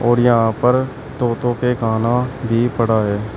और यहां पर तोतो के खाना भी पड़ा है।